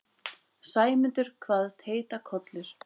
Sæmundur kvaðst heita Kollur.